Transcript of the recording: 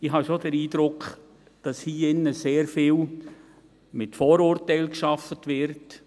Ich habe schon den Eindruck, dass hier im Saal sehr viel mit Vorurteilen gearbeitet wird.